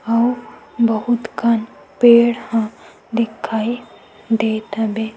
अउ बहुत कन पेड़ ह दिखाई देत हवे।